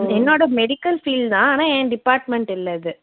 என்னோட medical field தான் ஆனா என் department இல்ல இது